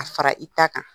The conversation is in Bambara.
A fara i ta kan